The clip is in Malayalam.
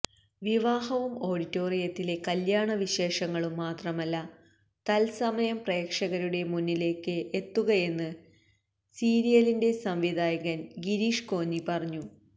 വിവാഹവും ഓഡിറ്റോറിയത്തിലെ കല്യാണ വിശേഷങ്ങളും മാത്രമല്ല തത്സമയം പ്രേക്ഷകരുടെ മുന്നിലേക്ക് എത്തുകയെന്ന് സീരിയലിന്റെ സംവിധായകന് ഗിരീഷ് കോന്നി പറയുന്നു